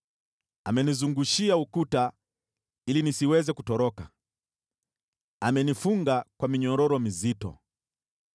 Amenizungushia ukuta ili nisiweze kutoroka, amenifunga kwa minyororo mizito.